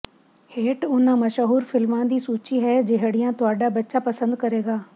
ਹੇਠ ਉਨ੍ਹਾਂ ਮਸ਼ਹੂਰ ਫਿਲਮਾਂ ਦੀ ਸੂਚੀ ਹੈ ਜਿਹੜੀਆਂ ਤੁਹਾਡਾ ਬੱਚਾ ਪਸੰਦ ਕਰੇਗਾ